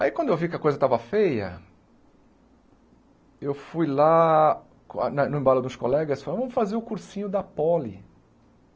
Aí quando eu vi que a coisa estava feia, eu fui lá, com a no embalo dos colegas, e falei, vamos fazer o cursinho da Poli.